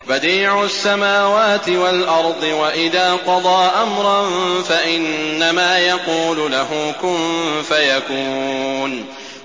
بَدِيعُ السَّمَاوَاتِ وَالْأَرْضِ ۖ وَإِذَا قَضَىٰ أَمْرًا فَإِنَّمَا يَقُولُ لَهُ كُن فَيَكُونُ